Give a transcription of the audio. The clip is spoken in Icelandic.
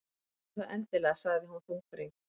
Gerðu það endilega- sagði hún þungbrýnd.